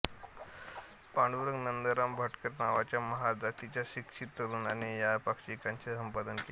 पांडुरंग नंदराम भटकर नावाच्या महार जातीच्या शिक्षित तरुणाने या पाक्षिकाचे संपादक केले